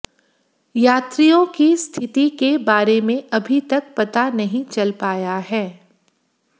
यात्रियों की स्थिति के बारे में अभी तक पता नहीं चल पाया है